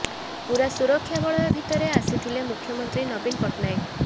ପୂରା ସୁରକ୍ଷା ବଳୟ ଭିତରେ ଆସିଥିଲେ ମୁଖ୍ୟମନ୍ତ୍ରୀ ନବୀନ ପଟ୍ଟନାୟକ